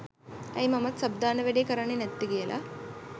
ඇයි මමත් සබ් දාන වැඩේ කරන්නේ නැත්තේ කියලා